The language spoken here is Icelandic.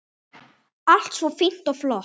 Allt svo fínt og flott.